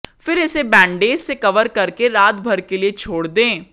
फिर इसे बैंडडेज से कवर कर के रातभर के लिये छोड़ दें